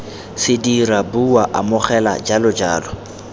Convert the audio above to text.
se dira bua amogela jalojalo